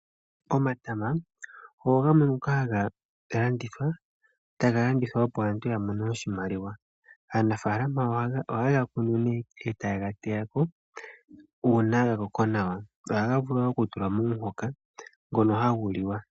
Omatama ogo gamwe ngoka haga landithwa tagalandithwa opo aantu yamone oshimaliwa. Aanafaalama ohayega kunu nee etayegateyako uuna gakoko nawa. Ohagavulu okutulwa momuhoka ngono haguliwa.